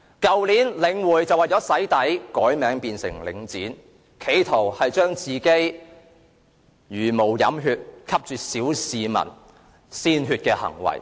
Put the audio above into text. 去年，領匯為了"洗底"改名為領展，企圖一一粉飾其茹毛飲血、吸啜小市民鮮血的行為。